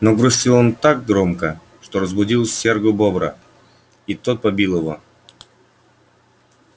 но грустил он так громко что разбудил серого бобра и тот побил его